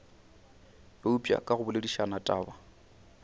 eupša ka go boledišana taba